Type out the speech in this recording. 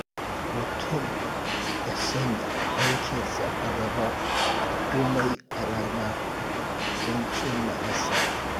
Mutum ya sanya aikinsa a gaba da komai a rana don cimma nasara.